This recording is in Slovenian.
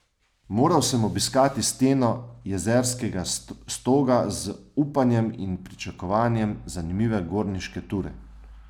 Moral sem obiskati steno Jezerskega Stoga z upanjem in pričakovanjem zanimive gorniške ture.